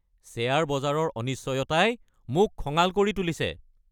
Share বজাৰৰ অনিশ্চয়তাই মোক খঙাল কৰি তুলিছে!